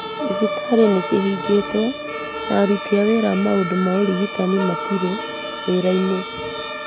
Thibitarĩ nĩ ciahingĩtwo, na aruti wĩra a maũndũ maũrigitani matiarĩ wĩra-inĩ.